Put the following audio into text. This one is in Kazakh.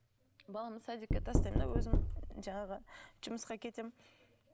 баламды садикке тастаймын да өзім жаңағы жұмысқа кетемін